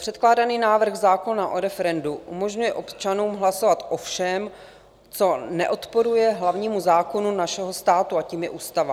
Předkládaný návrh zákona o referendu umožňuje občanům hlasovat o všem, co neodporuje hlavnímu zákonu našeho státu, a tím je ústava.